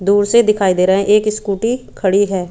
दूर से दिखाई दे रहा है एक स्कूटर खड़ी है।